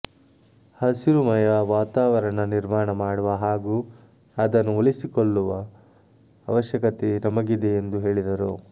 ಹಸಿರುಮಯ ವಾತಾವರಣ ನಿರ್ಮಾಣ ಮಾಡುವ ಹಾಗೂ ಅದನ್ನು ಉಳಿಸಿಕೊಳ್ಳುವ ಅವಶ್ಯಕತೆ ನಮಗಿದೆ ಎಂದು ಹೇಳಿದರು